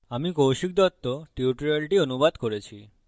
আমি কৌশিক দত্ত টিউটোরিয়ালটি অনুবাদ করেছি